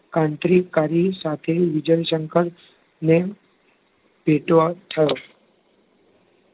ક્રાંતિકારી સાથે વિજયશંકરને ભેટો થયો